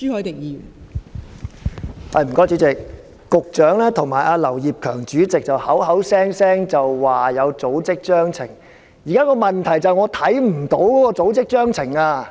代理主席，局長與劉業強主席口口聲聲說有組織章程，現時的問題是我看不到有組織章程。